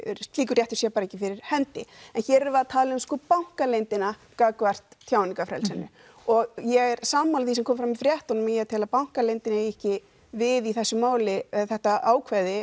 slíkur réttur sé ekki fyrir hendi en hér erum við að tala um bankaleyndina gagnvart tjáningarfrelsi og ég er sammála því sem kom fram í fréttunum ég tel að bankaleyndin eigi ekki við í þessu máli þetta ákvæði